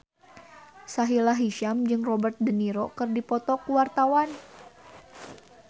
Sahila Hisyam jeung Robert de Niro keur dipoto ku wartawan